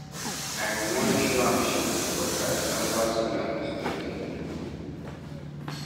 I bin wan show am shege but I remember say na mistake im do.